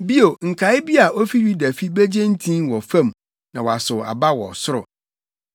Bio, nkae bi a ofi Yuda fi begye ntin wɔ fam na wasow aba wɔ soro.